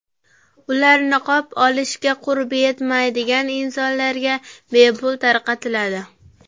Ular niqob olishga qurbi yetmaydigan insonlarga bepul tarqatiladi.